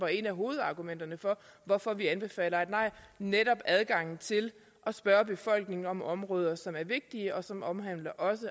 et af hovedargumenterne for hvorfor vi anbefaler et nej netop adgangen til at spørge befolkningen om områder som er vigtige og som også omhandler